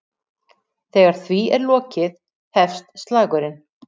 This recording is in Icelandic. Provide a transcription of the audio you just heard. Þegar því er lokið hefst slagurinn.